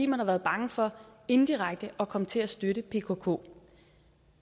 man har været bange for indirekte at komme til at støtte pkk